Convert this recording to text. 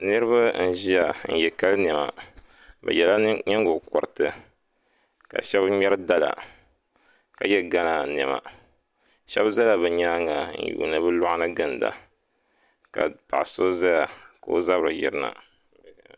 Niraba n ʒiya n yɛ kali niɛma bi yɛla nyingokoriti ka shab ŋmɛri dala ka yɛ gana niɛma shab ʒɛla bi nyaanga n yuundi bi luɣa ni ginda ka paɣa so ʒɛya ka o zabiri yirina